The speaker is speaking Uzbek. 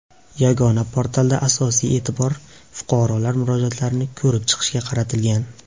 Yagona portalda asosiy e’tibor fuqarolar murojaatlarini ko‘rib chiqishga qaratilgan.